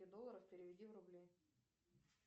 долларов переведи в рубли